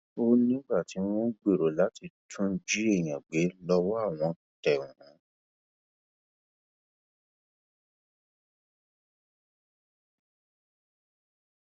ó nígbà tí wọn gbèrò láti tún jí èèyàn gbé lọwọ àwọn tẹ wọn